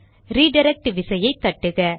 redirect விசையை தட்டுக